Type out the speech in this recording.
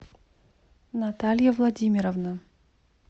наталья владимировна